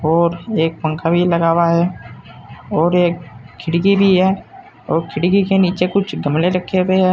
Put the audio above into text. और एक पंखा भी लगा हुआ है और एक खिड़की भी है और खिड़की के नीचे कुछ गमले रखे हुए हैं।